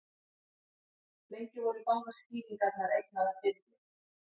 Lengi voru báðar skýringarnar eignaðar Birni.